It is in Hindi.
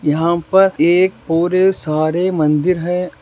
यहां पर एक और सारे मंदिर है।